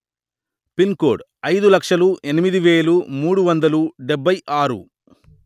pin code అయిదు లక్షలు ఎనిమిది వెలు మూడు వందలు డెబ్బై ఆరు